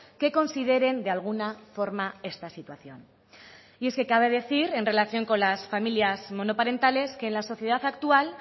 que consideren de alguna forma esta situación y es que cabe decir en relación con las familias monoparentales que en la sociedad actual